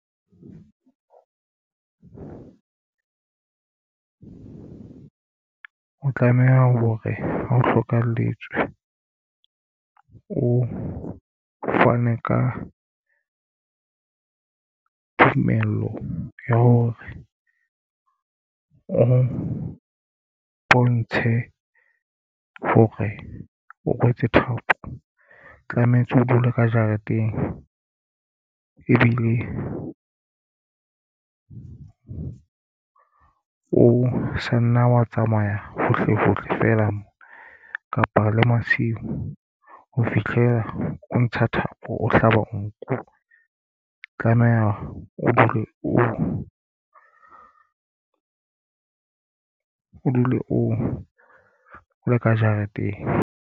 O tlameha ho re ha o hlokahalletswe o fane ka tumello ya hore o bontshe hore o rwetse thapo. Tlametse o dule ka jareteng ebile o sa nna wa tsamaya hohle hohle fela mona kapa le masiu ho fihlela o ntsha thapo ona. Hlaba nku tlameha o dule o le ka jareteng.